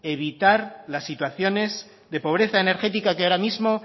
evitar las situaciones de pobreza energética que ahora mismo